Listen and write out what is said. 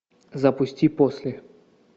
запусти после